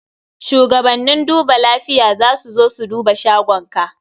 Shugabannin duba lafiya za su zo su duba shagonka.